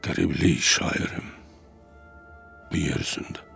Qəriblik şairim, bu yer üzündə.